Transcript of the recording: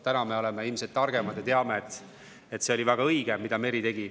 Täna me oleme ilmselt targemad ja teame, et see oli väga õige, mida Meri tegi.